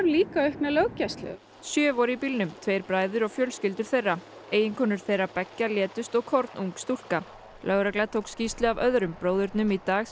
líka aukna löggæslu sjö voru í bílnum tveir bræður og fjölskyldur þeirra eiginkonur þeirra beggja létust og kornung stúlka lögregla tók skýrslu af öðrum bróðurnum í dag